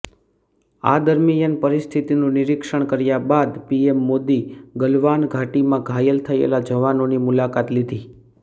આ દરમિયાન પરિસ્થિતિનુ નિરીક્ષણ કર્યા બાદ પીએમ મોદી ગલવાન ઘાટીમાં ઘાયલ થયેલા જવાનોની મુલાકાત લીધી